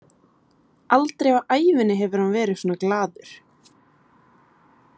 Aldrei á ævinni hefur hann verið svona glaður.